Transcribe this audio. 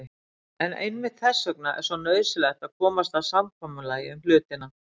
En einmitt þess vegna er svo nauðsynlegt að komast að samkomulagi um hlutina.